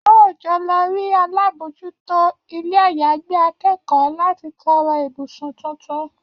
A óò jọ lọ rí alábòójútó ilé-àyágbé akẹ́kọ̀ọ́ láti tọrọ ibùsùn tuntun